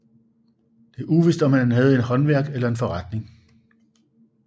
Det er uvist om han havde et håndværk eller en forretning